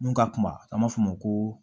Mun ka kuma an b'a fɔ o ma ko